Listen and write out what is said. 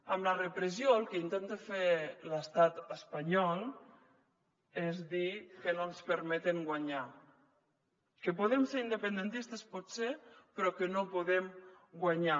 amb la repressió el que intenta fer l’estat espanyol és dir que no ens permeten guanyar que podem ser independentistes potser però que no podem guanyar